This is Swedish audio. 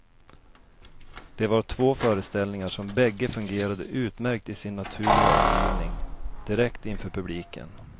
Det var två föreställningar som bägge fungerade utmärkt i sin naturliga omgivning, direkt inför publiken.